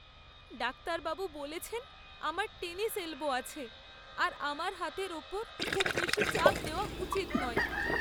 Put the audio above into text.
ডাক্তারবাবু বলেছেন আমার টেনিস এলবো আছে আর আমার হাতের উপর খুব বেশি চাপ দেওয়া উচিৎ নয়।